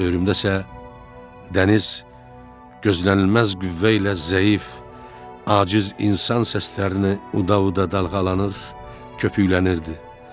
Ölüm isə dəniz gözlənilməz qüvvə ilə zəif, aciz insan səslərini uda-uda dalğalanır, köpüklənirdi.